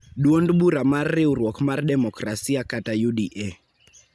Dwond bura mar Riwruok mar Demokrasia (UDA)